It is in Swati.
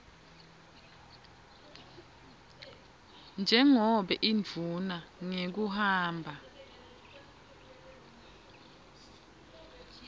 njengobe indvuna ngekuhamba